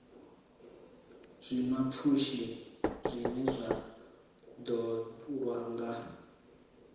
zwiḽiwapfushi zwine zwa ṱoḓwa nga